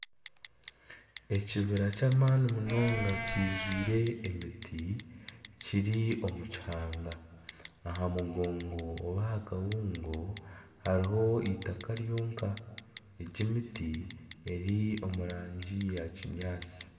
Ekibira ky'amaani munonga kijwire emiti kiri omukihanga aha mugongo oba aha kabuungo hariho eitaka ryonka egi emiti eri omu rangi ya kinyaatsi